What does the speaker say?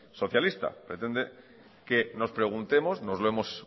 socialista pretende que nos preguntemos nos lo hemos